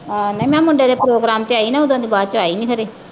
ਆਹ। ਮੈਂ ਨਾ ਮੁੰਡੇ ਦੇ ਪ੍ਰੋਗਰਾਮ ਤੇ ਆਈ ਨਾ, ਓਦਣ ਦੀ ਬਾਅਦ ਚ ਆਈ ਨੀ ਫਿਰ ਇਹ।